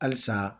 Halisa